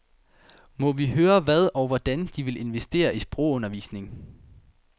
Må vi høre, hvad og hvordan de vil investere i sprogundervisning?